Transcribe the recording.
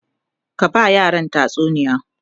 ki ba yaran tatsuniya!